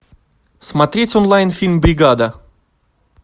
смотреть онлайн фильм бригада